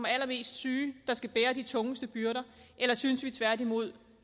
er allermest syge der skal bære de tungeste byrder eller synes vi tværtimod